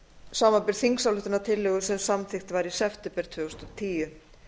samanber þingsályktunartillögu sem samþykkt var í september tvö þúsund og tíu